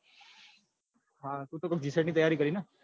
તું તો કોક gset ની તૈયારી કરે ને.